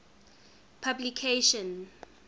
publication